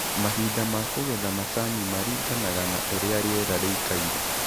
Mahinda ma kũgetha macani maringanaga na ũrĩa rĩera rĩikaire.